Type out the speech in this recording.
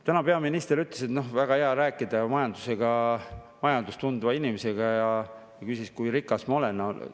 Täna peaminister ütles, et väga hea on rääkida majandust tundva inimesega, ja küsis, kui rikas ma olen.